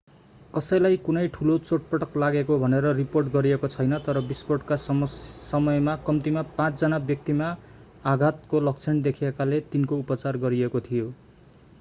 कसैलाई कुनै ठूलो चोटपटक लागेको भनेर रिपोर्ट गरिएको छैन तर विस्फोटका समयमा कम्तीमा पाँच जना व्यक्तिमा आघातको लक्षण देखिएकाले तिनको उपचार गरिएको थियो